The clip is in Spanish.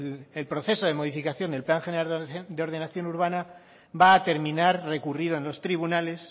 el proceso de modificación del plan general de ordenación urbana va a terminar recurrido en los tribunales